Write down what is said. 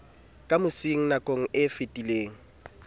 ka mosing nakong e fetileng